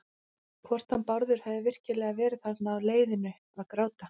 Hvort hann Bárður hefði virkilega verið þarna á leiðinu að gráta.